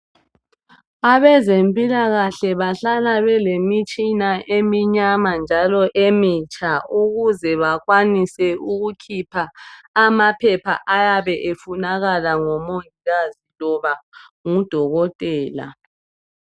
Abezempilakahle bahlala belemitshina eminyama njalo emitsha ukuze bakwanise ukukhipha amaphepha ayabe efunakala ngumongikazi loba ngudokotela.